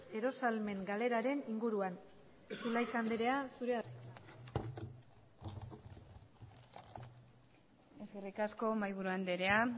erosahalmen galeraren inguruan zulaika andrea zurea da hitza eskerrik asko mahaiburu andrea